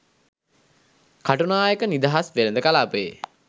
කටුනායක නිදහස් වෙළඳ කලාපයේ